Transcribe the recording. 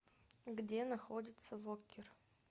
где находится воккер